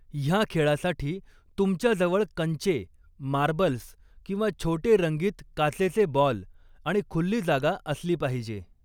ह्या खेळासाठी तुमच्या जवळ कंचे मार्बल्स किंवा छोटे रंगीत काचेचे बॉल आणि खुल्ली जागा असली पाहिजे.